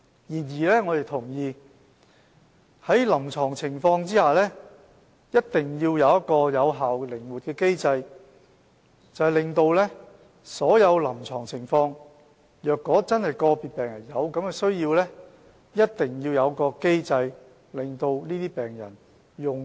然而，我們同意在臨床情況下，一定要設有一個有效的、靈活的機制，讓所有在臨床情況下真的有需要的病人，能夠取用所需的藥物。